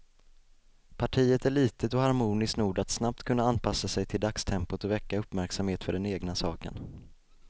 Partiet är litet och harmoniskt nog att snabbt kunna anpassa sig till dagstempot och väcka uppmärksamhet för den egna saken.